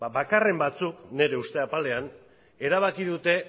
bakarren batzuk nire uste apalean erabaki dute